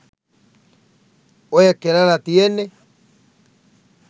ඔය කෙලලා තියෙන්නේ